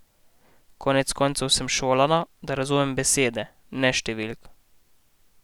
Konec koncev sem šolana, da razumem besede, ne številk.